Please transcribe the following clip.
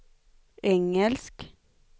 engelsk